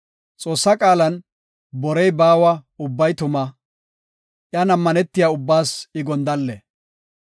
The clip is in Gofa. Xoossa qaalan borey baawa; ubbay tuma iyan ammanetiya ubbaas I gondalle.